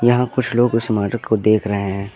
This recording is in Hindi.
यहां कुछ लोग उस समाधि को देख रहे हैं।